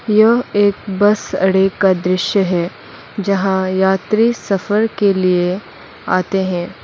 यह एक बस अड़े का दृश्य है जहां यात्री सफर के लिए आते हैं।